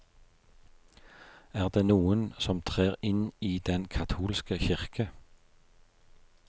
Er det noen som trer inn i den katolske kirke?